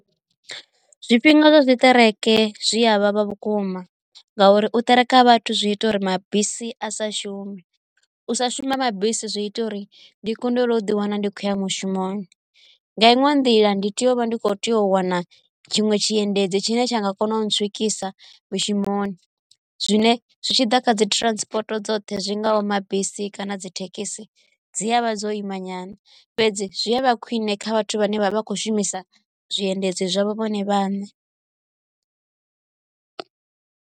Zwifhinga zwa zwiṱereke zwi avhavha vhukuma ngauri u ṱereka ha vhathu zwi ita uri mabisi a sa shume u sa shuma ha mabisi zwi ita uri ndi kundelwe u ḓi wana ndi khou ya mushumoni nga inwe nḓila ndi tea u vha ndi kho tea u wana tshiṅwe tshiendedzi tshine tsha nga kona u ntswikisa mishumoni zwine zwi tshi ḓa kha dzi transport dzoṱhe zwi ngaho mabisi kana dzi thekhisi dzi avha dzo imanyana fhedze zwi a vha khwine kha vhathu vhane vha vha khou shumisa zwiendedzi zwavho vhone vhaṋe.